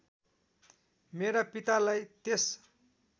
मेरा पितालाई त्यस